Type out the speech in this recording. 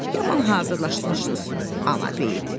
Yaman hazırlaşmışdınız Anabeyt.